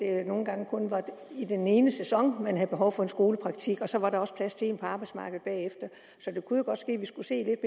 at det nogle gange kun var i den ene sæson man havde behov for en skolepraktik og så var der også plads til en på arbejdsmarkedet bagefter så det kunne jo godt ske at vi skulle se